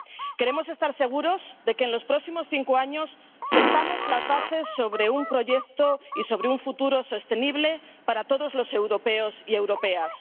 Queremos estar seguros de que, en los próximos cinco años, sentaremos las bases de un proyecto y de un futuro sostenible para todos los europeos y europeas.